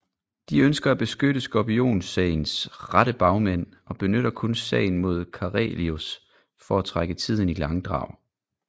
De ønsker at beskytte skorpionsagens rette bagmænd og benytter kun sagen mod Karelius for at trække tiden i langdrag